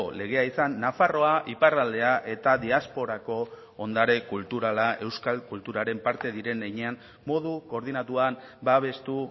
legea izan nafarroa iparraldea eta diasporako ondare kulturala euskal kulturaren parte diren heinean modu koordinatuan babestu